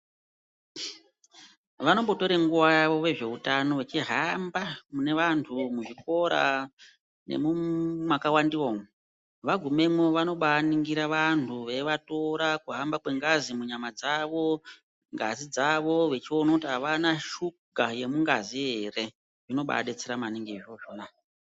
Vanombotora nguva yavo vezvehutano vachihamba mune antu muzvikora nemakawandiwa umu .Vagumemwo vanobaningira antu veivatora kuhamba kwengazi munyama dzawo ngazi yavo kuona kuti avana shuga yemungazi ere zvinobaadetsera maningi izvozvona